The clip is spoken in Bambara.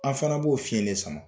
An fana b'o fiyelen sama